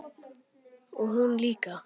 Og hún líka.